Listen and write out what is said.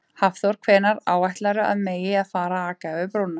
Hafþór: Hvenær áætlarðu að megi að fara að aka yfir brúna?